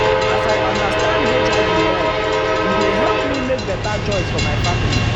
as i understand hiv well e dey help me make better choice for my family.